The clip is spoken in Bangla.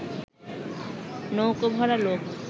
নৌকো-ভরা লোক